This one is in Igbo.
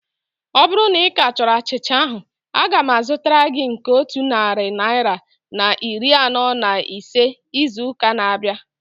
Ọ bụrụ na ika chọrọ achịcha ahu, aga m azụtara gị nke otu narị naira na iri anọ na ise izu ụka na-abịa